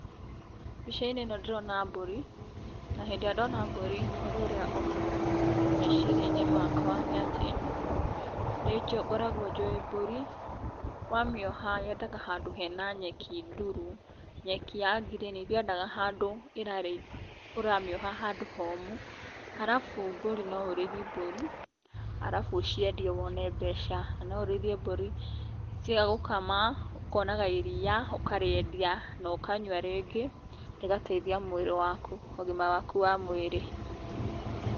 Mbicainĩ ĩno ndĩrona mbũrĩ, na hĩndĩ ĩrĩa ndĩrona mbũrĩ ũndũ ũrĩa ũkaga meciriainĩ makwa nĩ atĩ, nĩngoragwa jũĩ mbũri wamĩoga yendaga handũ hena nyeki ndũru, nyeki ya ngirini ndĩendaga handũ ũramĩoha handũ homũ ,arafu mbũri noũrĩthiĩ mbũri arafu ũciendie wone mbeca ,noũrĩithie mbũrĩ ciagũkama ,ũkonaga irĩa ũkarĩendia na ũkanyua, rĩngĩ rĩkateithia mwĩrĩ waku na ũgima waku wa mwĩrĩ.